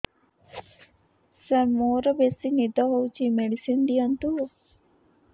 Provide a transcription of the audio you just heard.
ସାର ମୋରୋ ବେସି ନିଦ ହଉଚି ମେଡିସିନ ଦିଅନ୍ତୁ